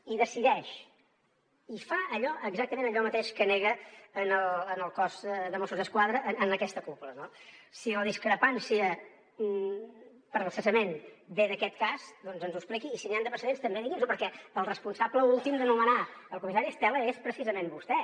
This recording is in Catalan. i decideix i fa exactament allò mateix que nega en el cos de mossos d’esquadra en aquesta cúpula no si la discrepància pel cessament ve d’aquest cas doncs ens ho expliqui i si n’hi han de precedents també digui’ns ho perquè el responsable últim de nomenar el comissari estela és precisament vostè